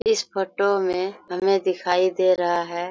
इस फोटो मे हमे दिखाई दे रहा है--